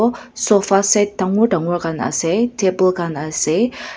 sofa set dangor dangor khan ase table khan ase.